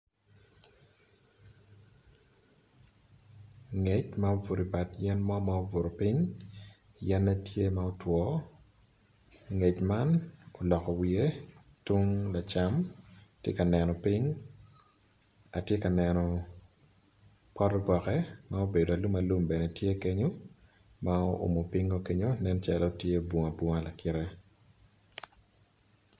Ngec ma obuto i bad yen mo ma obuto ping yene tye ma otwo nget ma oloko wiye tung lacam tye ka neno ping atye ka neno pot oboke ma obedo alum alum bene tye kenyo ma oumo pinge kenyo nen calo tye bunga bunga lakite.